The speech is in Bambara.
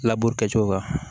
Laburu kɛcogo kan